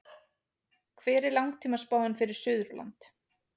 hver er langtímaspáin fyrir suðurland